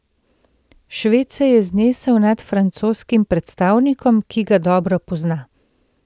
Šved se je znesel nad francoskim predstavnikom, ki ga dobro pozna.